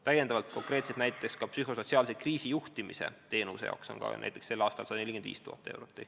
Täiendavalt on konkreetselt psühhosotsiaalse kriisi juhtimise teenuse jaoks näiteks sel aastal 145 000 eurot.